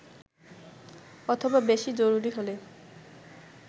অথবা বেশি জরুরি হলে